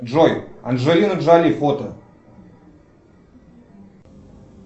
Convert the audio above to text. джой анджелина джоли фото